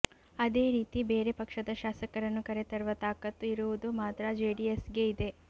ಅದೇ ರೀತಿ ಬೇರೆ ಪಕ್ಷದ ಶಾಸಕರನ್ನು ಕರೆತರುವ ತಾಕತ್ತು ಇರುವುದು ಮಾತ್ರ ಜೆಡಿಎಸ್ಗೆ ಇದೆ